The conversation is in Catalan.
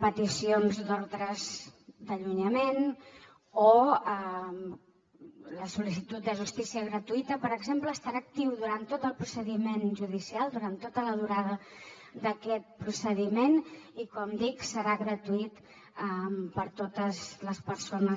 peticions d’ordres d’allunyament o la sol·licitud de justícia gratuïta per exemple estarà actiu durant tot el procediment judicial durant tota la durada d’aquest procediment i com dic serà gratuït per a totes les persones